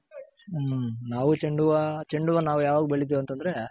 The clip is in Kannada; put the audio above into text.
ಹ್ಮ್ ನಾವು ಚೆoಡು ಹೂವ್ವ ಚೆoಡು ಹೂವ್ವ ನಾವ್ ಯಾವಾಗ್ ಬೆಳಿತಿವ್ ಅಂತಂದ್ರೆ.